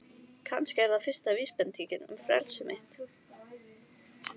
Kannski er það fyrsta vísbendingin um frelsi mitt.